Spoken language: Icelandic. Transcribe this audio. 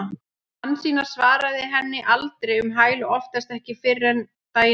Hansína svaraði henni aldrei um hæl og oftast ekki fyrr en daginn eftir.